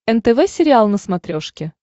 нтв сериал на смотрешке